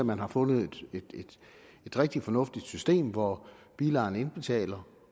man har fundet et rigtig fornuftigt system hvor bilejerne indbetaler